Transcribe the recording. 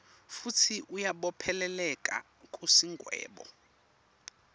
futsi uyabopheleleka kusigwebo